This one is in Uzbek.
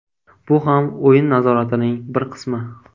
Bu ham o‘yin nazoratining bir qismi.